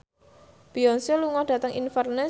Beyonce lunga dhateng Inverness